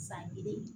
San kelen